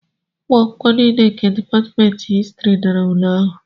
ụmụ akwụkwọ niile nke Dipatmentị Histrị dara ule ahụ